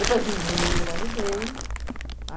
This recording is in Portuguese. Depois de um ano eu engravidei.